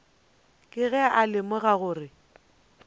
ke ge a lemoga gore